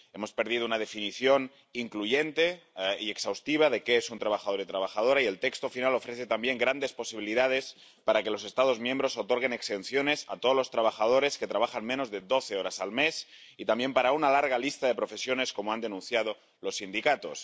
Hemos perdido una definición incluyente y exhaustiva de qué es un trabajador o trabajadora, y el texto final ofrece también grandes posibilidades para que los Estados miembros otorguen exenciones para todos los trabajadores que trabajan menos de doce horas al mes y también para una larga lista de profesiones, como han denunciado los sindicatos.